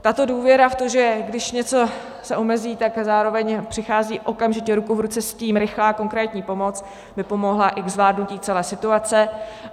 Tato důvěra v to, že když něco se omezí, tak zároveň přichází okamžitě ruku v ruce s tím rychlá, konkrétní pomoc, by pomohla i ke zvládnutí celé situace.